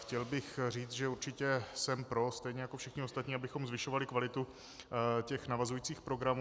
Chtěl bych říct, že určitě jsem pro, stejně jako všichni ostatní, abychom zvyšovali kvalitu těch navazujících programů.